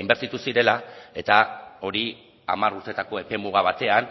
inbertitu zirela eta hori hamar urtetako epe muga batean